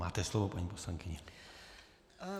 Máte slovo, paní poslankyně.